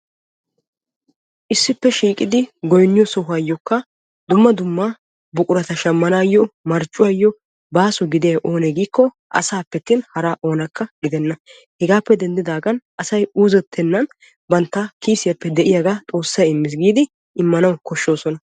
Issippe shiiqiddi goynniyo sohuwayo buquratta shamanayo marccuwayo baaso gidiyay asaappe attin hara oonakka gidenna hegappe denddigan asay uuzetennan banttawu de'iyaaga xoosassi immana besees.